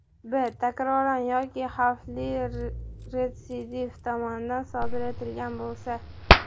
b) takroran yoki xavfli retsidivist tomonidan sodir etilgan bo‘lsa, —.